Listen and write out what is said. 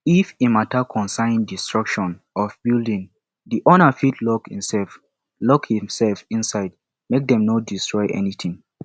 if e matter concern destruction of building the owner fit lock himself lock himself inside make them no estroy anything